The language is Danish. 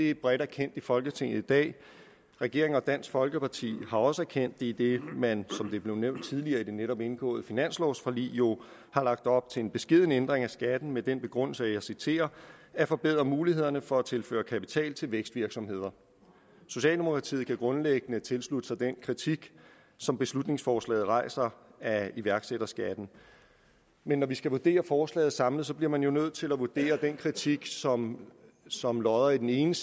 er bredt erkendt i folketinget i dag regeringen og dansk folkeparti har også erkendt det idet man som det blev nævnt tidligere i det netop indgåede finanslovforlig jo har lagt op til en beskeden ændring af skatten med den begrundelse og jeg citerer at forbedre mulighederne for tilførsel af kapital til vækstvirksomheder socialdemokratiet kan grundlæggende tilslutte sig den kritik som beslutningsforslaget rejser af iværksætterskatten men når vi skal vurdere forslaget samlet bliver man jo nødt til at vurdere den kritik som som lodder i den ene